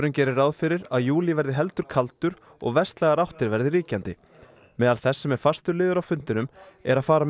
gerir ráð fyrir að júlí verði heldur kaldur og vestlægar áttir verði ríkjandi meðal þess sem er fastur liður á fundinum er að fara með